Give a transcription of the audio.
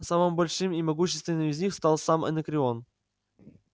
самым большим и могущественным из них стал сам анакреон